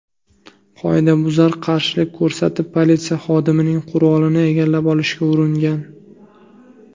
Qoidabuzar qarshilik ko‘rsatib, politsiya xodimining qurolini egallab olishga uringan.